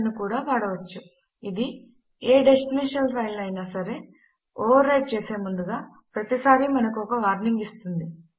మనము i option ను కూడా వాడవచ్చు ఇది ఏ డెస్టినేషన్ ఫైల్ ను అయినా సరే ఓవర్ రైట్ చేసే ముందుగా ప్రతిసారి మనకు ఒక వార్నింగ్ ఇస్తుంది